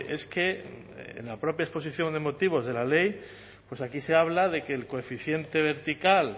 es que en la propia exposición de motivos de la ley pues aquí se habla de que el coeficiente vertical